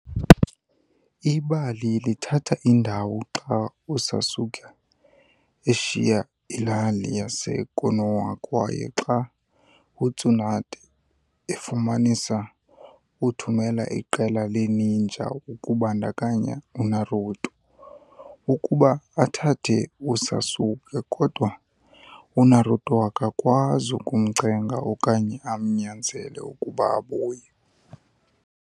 Ibali lithatha indawo xa uSasuke eshiya ilali yaseKonoha kwaye xa uTsunade efumanisa, uthumela iqela le-ninja, kubandakanya uNaruto, ukuba athathe uSasuke, kodwa uNaruto akakwazi ukumcenga okanye amnyanzele ukuba abuye.